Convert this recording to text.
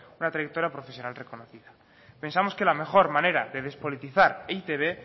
una trayectoria profesional reconocida pensamos que la mejor manera de despolitizar e i te be